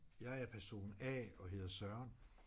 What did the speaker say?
Jeg er person A og hedder Søren